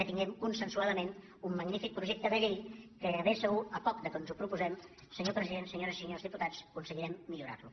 que tinguem consensuadament un magnífic projecte de llei que de ben segur per poc que ens ho proposem senyor president senyores i senyors diputats aconse·guirem millorar·lo